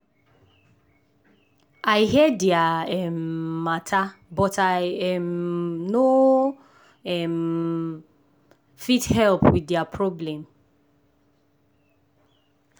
i hear dia um matter but i um no um fit help with dia problem.